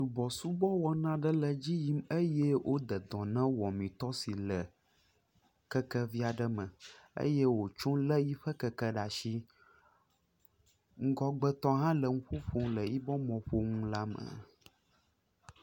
Subɔsubɔ wɔna aɖe le edzi yim eye woda dɔ na wɔmitɔ si le kekevi aɖe me eye wòtso lé yiƒe keke ɖa ashi. Ŋgɔgbetɔ hã le nu ƒo ƒom ɖe yiƒe mɔ̃ƒomɔ̃la me.